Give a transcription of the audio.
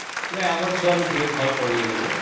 ନାଇଁ ଆମର ଛୁଆ ଦୁହେଁ ଭଲ ପଢୁଛନ୍ତି